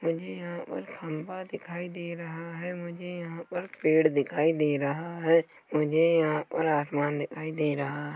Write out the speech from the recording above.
मुझे यहाँ पर खंबा दिखाई दे रहा है मुझे यहाँ पर पेड़ दिखाई दे रहा है मुझे यहाँ पर आसमान दिखाई दे रहा है।